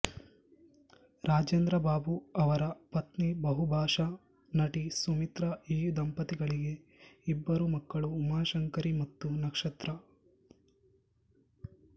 ರಾಜೇಂದ್ರ ಬಾಬು ಅವರ ಪತ್ನಿ ಬಹುಭಾಷಾ ನಟಿ ಸುಮಿತ್ರಾ ಈ ದಂಪತಿಗಳಿಗೆ ಇಬ್ಬರು ಮಕ್ಕಳು ಉಮಾಶಂಕರಿ ಮತ್ತು ನಕ್ಷತ್ರ